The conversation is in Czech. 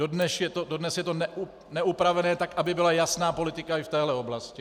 Dodnes je to neupravené tak, aby byla jasná politika i v téhle oblasti.